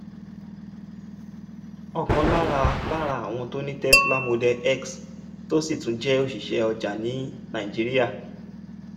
ọ̀kan lára lára àwọn tó ní tesla model x tó sì tún jẹ́ òṣìṣẹ́ ọjà ní nàìjíríà